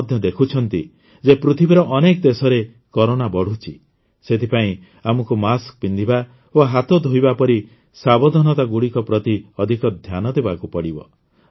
ଆପଣ ମଧ୍ୟ ଦେଖୁଛନ୍ତି ଯେ ପୃଥିବୀର ଅନେକ ଦେଶରେ କରୋନା ବଢ଼ୁଛି ସେଥିପାଇଁ ଆମକୁ ମାସ୍କ ପିନ୍ଧିବା ଓ ହାତ ଧୋଇବା ପରି ସାବଧାନତାଗୁଡ଼ିକ ପ୍ରତି ଅଧିକ ଧ୍ୟାନ ଦେବାକୁ ପଡ଼ିବ